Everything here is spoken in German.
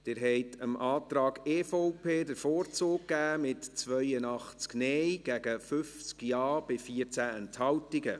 Sie haben dem Antrag EVP den Vorzug geben, mit 82 Nein- gegen 50 Ja-Stimmen bei 14 Enthaltungen.